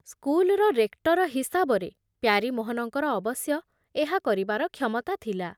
ସ୍କୁଲର ରେକ୍ଟର ହିସାବରେ ପ୍ୟାରୀମୋହନଙ୍କର ଅବଶ୍ୟ ଏହା କରିବାର କ୍ଷମତା ଥିଲା ।